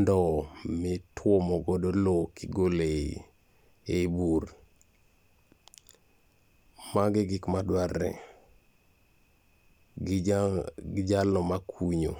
ndowo mitwomo godo lowo kigolo e bur. Mago e gik madwarre, gi jalo makunyo.